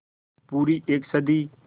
पूरी एक सदी